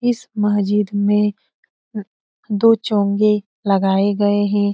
इस महजिद में दो चोंगे लगाये गये है।